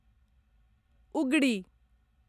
उगड़ि